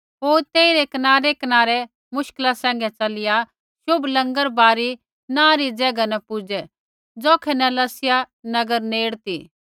होर तेइरै कनारैकनारै मुश्किला सैंघै च़लिया शुभ लँगरबारी नाँ री ज़ैगा न पुजै ज़ौखै न लसिया नगर नेड़ ती